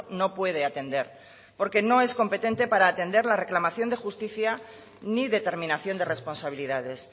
no puede atender porque no es competente para atender la reclamación de justicia ni determinación de responsabilidades